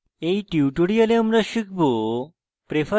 in tutorial আমরা শিখব: